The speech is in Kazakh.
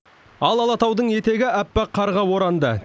ал алатаудың етегі аппақ қарға оранды